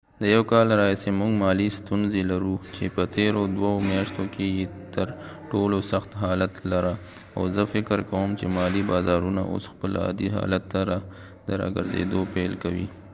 د یو کال راهیسی موږ مالی ستونزی لرو چې په تیرو دوه میاشتو کی یې تر ټولو سخت حالت لره او زه فکر کوم چې مالی بازارونه اوس خپل عادي حالت ته د را ګرځیدو پیل کوي